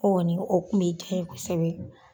ni o kun be diya n ye kosɛbɛ.